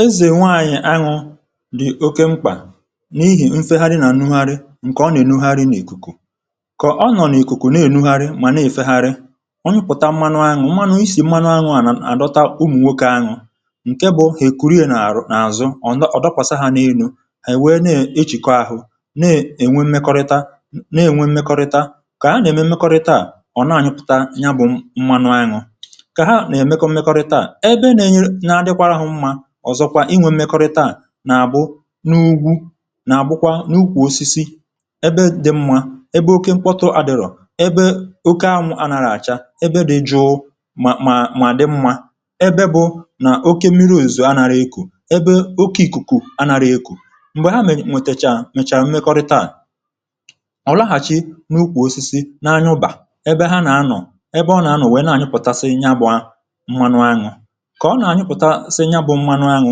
Ezè nwe anyị̇ añụ dị̀ oke mkpà, n’ihì nfe ha di nà anụhari ǹkè ọ nà-ènụhari nà-èkùkò. kọ̀ ọ nọ̀ n’ìkùkò nà-ènụhari mà nà-èfe hari onye pụ̀ta mmanụ añụ mmanụ isì mmanụ añụ à nà-àdọta ụmụ̀ nwoke añụ ǹke bụ̇ ha ekwuri è n’àzụ n’àzụ ọ̀ dọkwàsȧ hȧ n’enu̇ à èwe na-echìkọ ȧhụ̇, na-ènwe mmekọrịta, na-ènwe mmekọrịta. kà ha nà-ème mmekọrịta à ọ̀ na-ànyị pụ̀ta ya bụ̇ mmanụ añụ, ka ha na eme mmekọrịta ebe na adikwa ha mma ọ̀zọkwa inwė mekọrịta à, nà àbụ n’ugwu, nà àbụkwa n’ukwù osisi, ebe dì mmȧ, ebe oke mkpọtụ àdịrọ̀, ebe oke anwụ̇ a nàrà àcha, ebe dị̇ jụụ-mà mà mà di mmȧ, ebe bụ̇ nà oke miri òzì a nàrà ekù, ebe oke ìkùkù a nàrà ekù. m̀gbè ha mèchàrà mmekọrịta à, ọ laghàchì n’ukwù osisi na anyụbà ebe ha nà anọ̀, ebe ọ nà anọ̀ wèe na anyụpụtasị ịnya bụ̀ a mmanụ anyụ. Ka ọna anyụpụtasị ya bụ mmanụ anụ,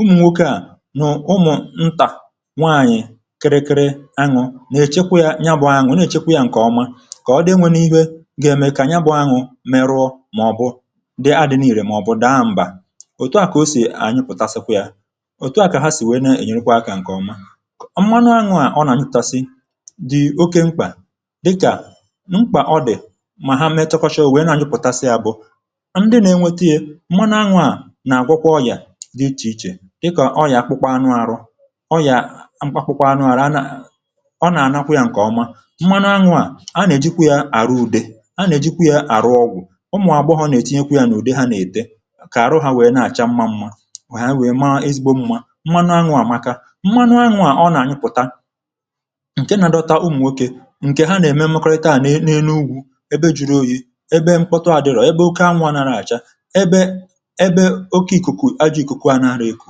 ụmụ̀nwoke à nù ụmụ̀ ntà nwaànyị̀ kịrịkịrị añu̇ nà-èchekwa yȧ ya bụ̇ añu̇, nà-èchekwa yȧ ǹkè ọma, kà ọ dị enwėnu ihė gà-ème kà ya bụ̇ añu̇ merụọ mà ọ̀ bụ̀ dị adị̇na ìrè mà ọ̀ bụ̀ daà m̀bà, òtu à kà o sì ànyịpụ̀tasịkwa yȧ, òtu à kà ha sì nwèe ne ènyerekwa akȧ ǹkè ọma. Mmanu añu̇ à ọ nà-ànyịtasị, dị̀ oke mkpà dịkà mkpà ọ dị̀ mà ha metụkọcha òwee ne-anyịpụ̀tasị à bụ, ndị na enweta ya-mmanụ anụ na agwọ kwa ọyà dịchè ichè dịkà, ọyià akpụkpọ anụ arọ, ọyià akpụkpọ anụ̇ ara, ọ nà ànakwa yȧ ǹkèọma. mmanụ anwụ̇ à a nà ejikwa yȧ àrụ ùde, a nà ejikwa yȧ àrụ ọgwụ̀, ụmụ̀ àgbọ ha nà ètinye kwa yȧ n’ụdė ha nà ète kà àrụ hȧ wèe na-àcha mma mmȧ wèe wèe ma ezigbo mma, mmanụ anwụ̇ àmaka. mmanụ anwụ̇ à ọ nà ànyụpụ̀ta ǹkè nà dọta ụmụ̀ nwokė, ǹkè ha nà ème mekariata àna e na-enu ugwȯ ebe juru oyi̇, ebe mkpọtu à dịrọ̀, ebe oke anwụ̇ ànara àcha, ebe ọke ịkụkụ anarọ ekụ,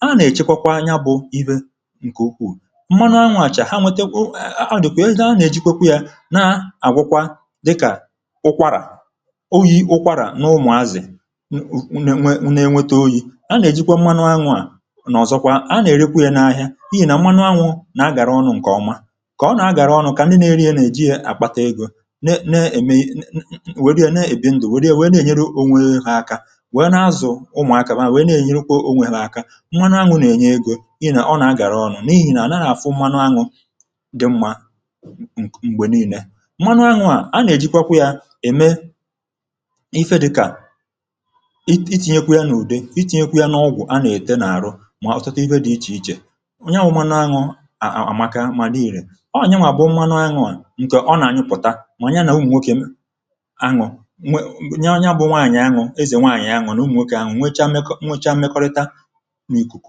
a nà-èchekwa kwa ya bụ̇ iwe ǹkè ukwuù. Mmanụ anwụ̇ àchà ha wete wụ̇ ahụ̀ dị̀kwà e nà-anà-èjikwe kwa ya na-àgwọkwa dịkà ụkwarà, oyi̇ ụkwarà n’ụmụ̀azì nne nwe nà-enweta oyi̇, a nà-èjikwa mmanụ anwụ̇-à nà ọ̀zọkwa a nà-èrikwu ya n’ahịa, pịhị nà mmanụ anwụ̇ nà-agàra ọnụ̇ ǹkè ọma, kà ọ nà-agàra ọnụ̇ kà ndị na-eri ya nà-èji ya àkpata egȯ, ne na-ème nwère ya na-èbi ndụ̀, wère ya wèe na-ènyere onwe ha aka, nwanụ anwụ̇ nà-ènye egȯ ịnà ọ nà-agàra ọrụ̇, n’ihi nà ànàrụ̀ àfụ mmanụ anwụ̇ dị mmȧ m̀gbe niilė. Mmanụ anwụ̇ à a nà-èjikwa yȧ ème ife dịkà itì nyekwa yȧ n’ùde, itì nyekwa yȧ n’ọgwụ̀ a nà-ète n’àrụ, mà ọ̀tọtọ igȯ dị̇ ichè ichè onye à wụ̇, ya bụ mmanụ anwụ̇ à àmaka mà n’irì. ọọ̀ nyewà bụ̀ mmanụ anwụ̇ à ǹkè ọ nà-ànyụpụ̀ta mà onye nà ụmụ̀nwokė m anwụ̇ nwa onye abụọ nwaànyị̀ anwụ̇ ezè nwaànyị̀ anwụ̇ nà ụmụ̀nwokė anwụ̇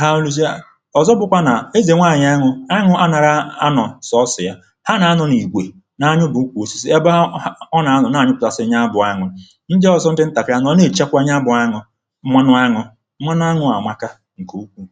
ha nụsie. ọ̀zọ bụ̀kwa nà ezè nwaànyị̀ anụ̇, anụ̇ anara anụ̇ sọsìa, ha nà-anụ̇ nà-ègwè na-anyụ̇ bụ̀kwù osisi, ebe ha ọ nà-anụ̀ na-anyụ̇ plàsị̀rị̀ nya abụọ anụ̇ ndị ọ̀zọ m dị ntàpị̀ anụ̇ ọ̀ na-èchekwa nya abụọ anụ̇ nwanụ anụ̇ nwanụ anụ̇ àmaka ǹkè ukwù.